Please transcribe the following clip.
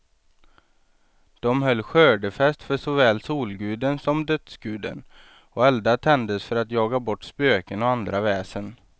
De höll skördefest för såväl solguden som dödsguden, och eldar tändes för att jaga bort spöken och andra väsen.